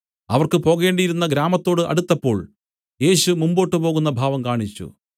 അവർക്ക് പോകേണ്ടിയിരുന്ന ഗ്രാമത്തോട് അടുത്തപ്പോൾ യേശു മുമ്പോട്ടു പോകുന്ന ഭാവം കാണിച്ചു